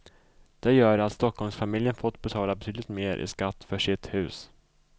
Det gör att stockholmsfamiljen får betala betydligt mer i skatt för sitt hus.